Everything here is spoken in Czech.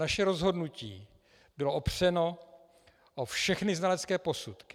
Naše rozhodnutí bylo opřeno o všechny znalecké posudky.